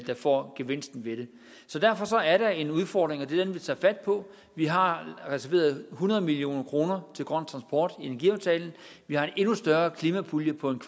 får gevinsten ved det så derfor er der en udfordring og det er den vi tager fat på vi har reserveret hundrede million kroner til grøn transport i energiaftalen vi har en endnu større klimapulje på en